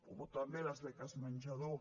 o també les beques menjador